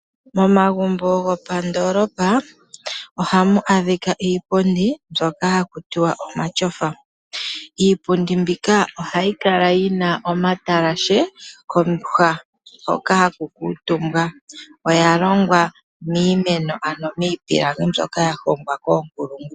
Momagumbo gopandoolopa ohamu adhika iipundi mbyoka hakutiwa omatyofa. Iipundi mbika ohayikala yina omatalashe hono haku kuutumbwa. Oyalongwa miimeno ano miipilangi mbyoka ya hongwa koonkulungu.